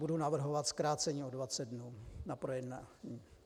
Budu navrhovat zkrácení o 20 dnů na projednání.